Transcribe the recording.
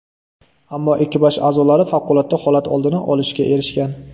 Ammo ekipaj a’zolari favqulodda holat oldini olishga erishgan.